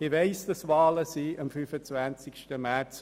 Ich weiss, dass am 25. März Wahlen stattfinden.